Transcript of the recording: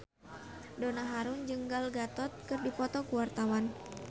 Donna Harun jeung Gal Gadot keur dipoto ku wartawan